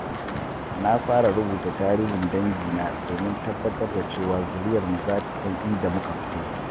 Na fara rubuta tarihin dangina domin tabbatar da cewa zuriyarmu za ta san inda muka fito.